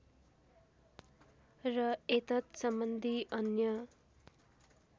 र एतत्सम्बन्धी अन्य